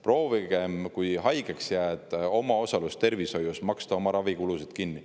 Proovige, kui haigeks jääte, maksta oma ravikulud kinni.